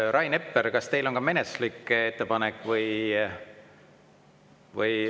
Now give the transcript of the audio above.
Rain Epler, kas teil on ka menetluslik ettepanek või …